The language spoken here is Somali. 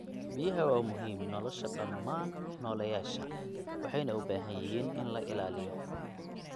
Biyaha waa muhiim nolosha dhammaan nooleyaasha, waxayna u baahan yihiin in la ilaaliyo.